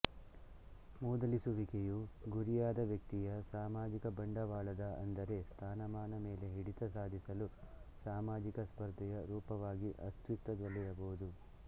ಮೂದಲಿಸುವಿಕೆಯು ಗುರಿಯಾದ ವ್ಯಕ್ತಿಯ ಸಾಮಾಜಿಕ ಬಂಡವಾಳದ ಅಂದರೆ ಸ್ಥಾನಮಾನ ಮೇಲೆ ಹಿಡಿತ ಸಾಧಿಸಲು ಸಾಮಾಜಿಕ ಸ್ಪರ್ಧೆಯ ರೂಪವಾಗಿ ಅಸ್ತಿತ್ವದಲ್ಲಿರಬಹುದು